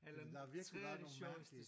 Der har virkelig været nogle mærkelige